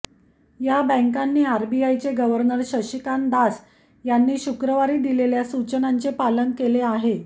या बँकांनी आरबीआयचे गव्हर्नर शक्तीकांत दास यांनी शुक्रवारी दिलेल्या सूचनांचे पालन केले आहे